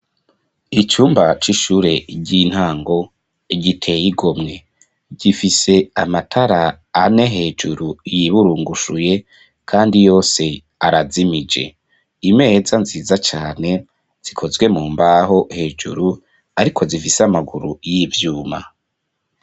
Icumba c'ishure ry'intango giteyigo mwe gifise amatara ane hejuru yiburungushuye, kandi yose arazimije imeza nziza cane zikozwe mu mbaho hejuru, ariko zifise amaguru y'ivyuma.